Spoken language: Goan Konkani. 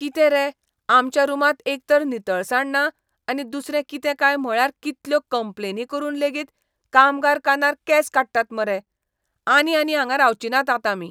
कितें रे, आमच्या रूमांत एकतर नितळसाण ना आनी दुसरें कितें काय म्हळ्यार कितल्यो कंप्लेनी करून लेगीत कामगार कानार केंस काडटात मरे. आनी आनी हांगां रावचीं नात आतां आमी.